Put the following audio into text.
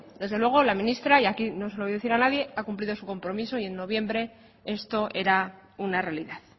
desde luego la ministra y aquí no se lo he oído decir a nadie ha cumplido su compromiso y en noviembre esto era una realidad